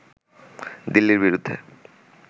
দিল্লীর বিরুদ্ধে